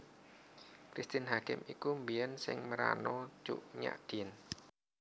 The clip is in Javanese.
Christine Hakim iku biyen sing merano Cut Nyak Dhien